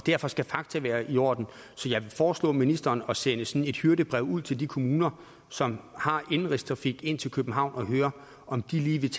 derfor skal fakta være i orden jeg vil foreslå ministeren at sende sådan et hyrdebrev ud til de kommuner som har indenrigstrafik ind til københavn for at høre om de lige vil